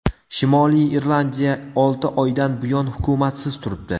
Shimoliy Irlandiya olti oydan buyon hukumatsiz turibdi.